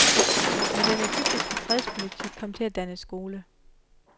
Men den egyptiske fredspolitik kom til at danne skole.